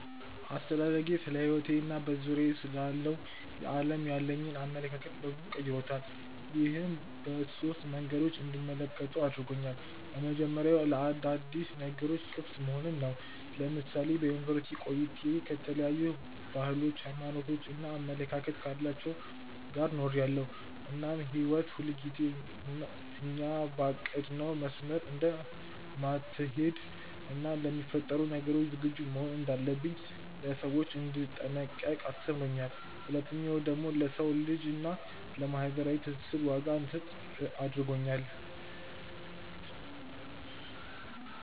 አስተዳደጌ ስለሕይወቴ እና በዙሪያዬ ስላለው ዓለም ያለኝን አመለካከት በበዙ ቀይሮታል። ይህም በሶስት መንገዶች እንድመለከተው አድርጎኛል። የመጀመሪያው ለአዳዲስ ነገሮች ክፍት መሆንን ነው። ለምሳሌ በዩኒቨርስቲ ቆይታዬ ከተለያዩ ባህሎች፣ ሃይማኖት እና አመለካከት ካላቸው ጋር ኖሬያለው እናም ህይወት ሁልጊዜ እኛ ባቀድነው መስመር እንደማትሀለድ እና ለሚፈጠሩ ነገሮች ዝግጁ መሆን እንዳለብኝ፣ ለሰዎች እንድጠነቀቅ አስተምሮኛል። ሁለተኛው ደግሞ ለሰው ልጅ እና ለማህበራዊ ትስስር ዋጋ እንድሰጥ አድርጎኛል።